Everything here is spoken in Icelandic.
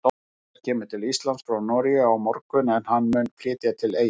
Jóhannes kemur til Íslands frá Noregi á morgun en hann mun flytja til Eyja.